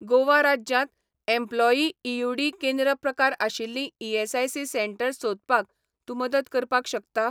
गोवा राज्यांत एम्प्लॉयीईयूडी केंद्र प्रकारआशिल्लीं ईएसआयसी सेटंर्स सोदपाक तूं मदत करपाक शकता?